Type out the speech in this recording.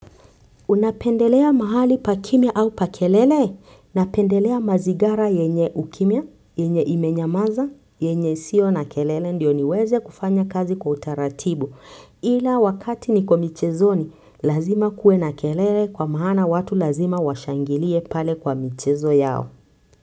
Unapendelea mahali pa kimya au pa kelele, napendelea mazingara yenye ukimya, yenye imenyamaza, yenye sio na kelele ndio niweze kufanya kazi kwa utaratibu ila wakati niko michezoni lazima kuwe na kelele kwa maana watu lazima washangilie pale kwa michezo yao.